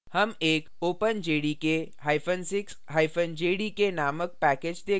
हम एक openjdk6jdk named package देखते हैं